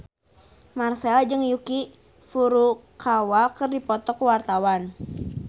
Marchell jeung Yuki Furukawa keur dipoto ku wartawan